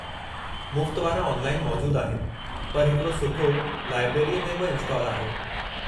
मुफ़्त वारा ऑनलाइन मौजूदु आहिनि, पर हिकड़ो सुठो लाइबरेरीअ में बि इनस्टॉल आहे।